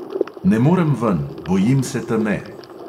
Ne morem ven, bojim se teme.